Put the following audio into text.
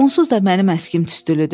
Onsuz da mənim əskim tüstülüdür.